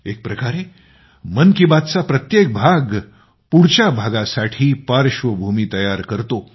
एक प्रकारे मन की बातचा प्रत्येक भाग पुढच्या भागासाठी पार्श्वभूमी तयार करतो